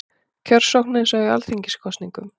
Kjörsókn eins og í alþingiskosningum